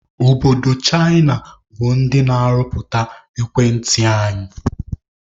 Obodo Chịna bụ ndị na-arụpụta ekwentị anyị